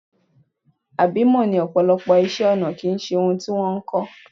Àbímọ́ ni ọ̀pọ̀lọpọ̀ iṣẹ́-ọnà kì í ṣe ohun tí wọ́n kọ́.